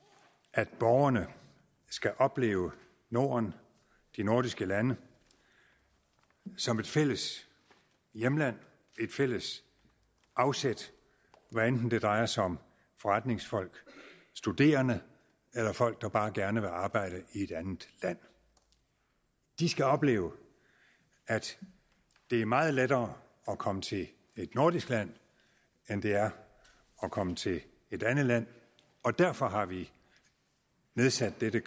at borgerne skal opleve norden de nordiske lande som et fælles hjemland et fælles afsæt hvad enten det drejer sig om forretningsfolk studerende eller folk der bare gerne vil arbejde i et andet land de skal opleve at det er meget lettere at komme til et nordisk land end det er at komme til et andet land og derfor har vi nedsat dette